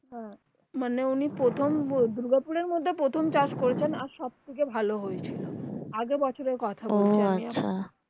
মানে উনি প্রথম দুর্গাপুর এর মধ্যে প্রথম চাষ করেছেন যা ভালো হয়েছিল আগের যা আগের বছরের কথা